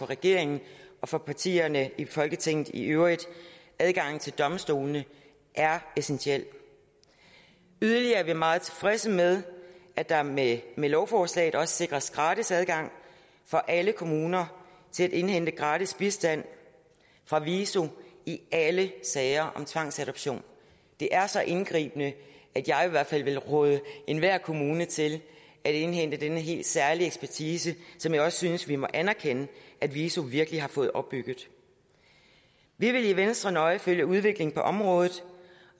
regeringen og for partierne i folketinget i øvrigt adgangen til domstolene er essentiel yderligere er vi meget tilfredse med at der med med lovforslaget også sikres gratis adgang for alle kommuner til at indhente gratis bistand fra viso i alle sager om tvangsadoption det er så indgribende at jeg i hvert fald vil råde enhver kommune til at indhente denne helt særlige ekspertise som jeg også synes at vi må anerkende at viso virkelig har fået opbygget vi vil i venstre nøje følge udviklingen på området